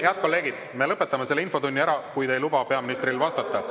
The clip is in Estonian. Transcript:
Head kolleegid, me lõpetame selle infotunni ära, kui te ei luba peaministril vastata.